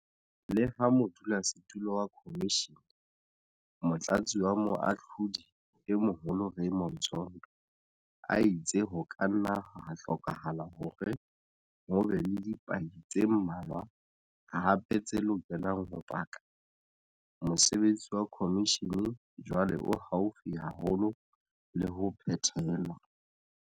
Leha modulasetulo wa khomishene, Motlatsi wa Moahlodi e Moholo Raymond Zondo a itse ho ka nna ha hlokahala hore ho be le dipaki tse mmalwa hape tse lokelang ho paka, mosebetsi wa khomishene jwale o haufi haholo le ho phethelwa.